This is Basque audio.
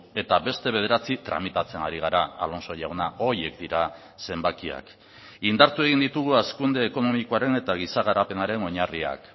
eta beste bederatzi tramitatzen ari gara alonso jauna horiek dira zenbakiak indartu egin ditugu hazkunde ekonomikoaren eta giza garapenaren oinarriak